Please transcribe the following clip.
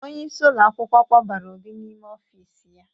Onyeisi ụlọ akwụkwọ kpọbara Obi n'ime ofiisi ya.